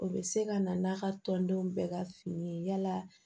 O bɛ se ka na n'a ka tɔndenw bɛɛ ka fini ye yala